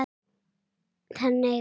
þannig að